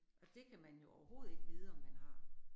Og det kan man jo overhovedet ikke vide, om man har